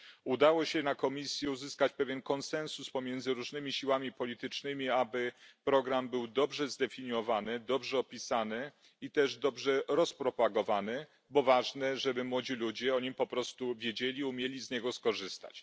Udało się na komisji uzyskać pewien konsensus pomiędzy różnymi siłami politycznymi, aby program był dobrze zdefiniowany, dobrze opisany i też dobrze rozpropagowany, bo ważne, żeby młodzi ludzie o nim po prostu wiedzieli, umieli z niego skorzystać.